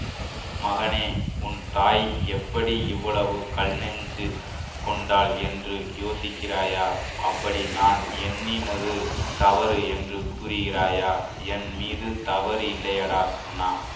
மகனே உன் தாய் எப்படி இவ்வளவு கல்நெஞ்சு கொண்டாள் என்று யோசிக்கிறாயா அப்படி நான் எண்ணினது தவறு என்று கூறுகிறாயா என் மீது தவறு இல்லையடா கண்ணா